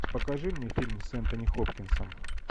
покажи мне фильм с энтони хопкинсом